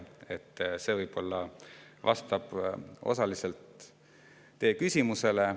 See vastab võib-olla osaliselt teie küsimusele.